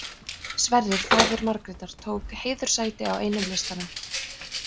Sverrir faðir Margrétar tók heiðurssæti á einum listanum.